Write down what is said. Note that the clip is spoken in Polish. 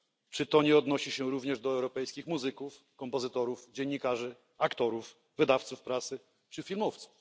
Czy to nie odnosi się również do europejskich muzyków, kompozytorów, dziennikarzy, aktorów, wydawców prasy czy filmowców?